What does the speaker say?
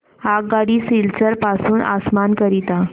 आगगाडी सिलचर पासून आसाम करीता